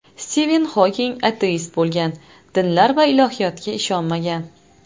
Stiven Xoking ateist bo‘lgan, dinlar va ilohiyotga ishonmagan.